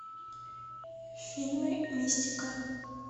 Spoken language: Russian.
фильмы мистика